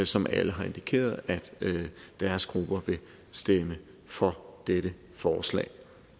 som alle har indikeret at deres grupper vil stemme for dette forslag